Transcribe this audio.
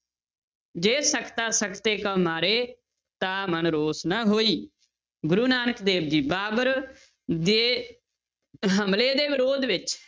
ਜੇ ਸਕਤਾ ਸਕਤੇ ਕਉ ਮਾਰੇ ਤਾ ਮਨਿ ਰੋਸੁ ਨ ਹੋਈ, ਗੁਰੂ ਨਾਨਕ ਦੇਵ ਜੀ ਬਾਬਰ ਦੇ ਹਮਲੇ ਦੇ ਵਿਰੋਧ ਵਿੱਚ